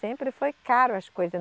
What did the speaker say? Sempre foi caro as coisa.